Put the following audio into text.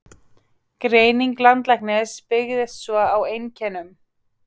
Greining læknisins byggist svo á einkennum.